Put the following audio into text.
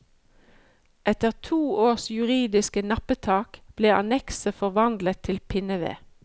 Etter to års juridiske nappetak ble annekset forvandlet til pinneved.